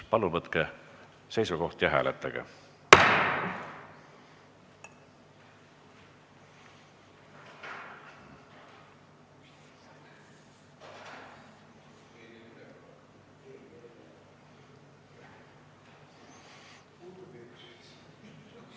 Palun võtke seisukoht ja hääletage!